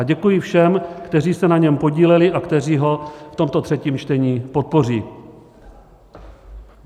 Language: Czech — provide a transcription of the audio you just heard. A děkuji všem, kteří se na něm podíleli a kteří ho v tomto třetím čtení podpoří.